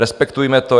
Respektujme to.